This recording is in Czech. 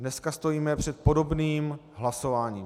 Dneska stojíme před podobným hlasováním.